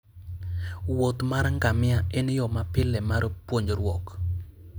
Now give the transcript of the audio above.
wuoth mar ngamia en yo mapile mar puonjruok.